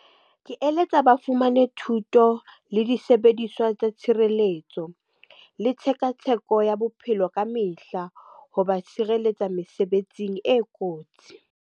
Ke eletsa ba fumane thuto le disebediswa tsa tshireletso. Le tshekatsheko ya bophelo ka mehla ho ba tshireletsa mesebetsing e kotsi.